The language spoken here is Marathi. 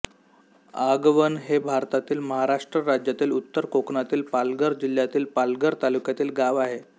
आगवण हे भारतातील महाराष्ट्र राज्यातील उत्तर कोकणातील पालघर जिल्ह्यातील पालघर तालुक्यातील गाव आहे